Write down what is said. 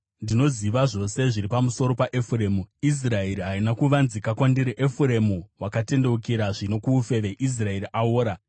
Ndinoziva zvose zviri pamusoro paEfuremu; Israeri haina kuvanzika kwandiri. Efuremu, watendeukira zvino kuufeve; Israeri aora.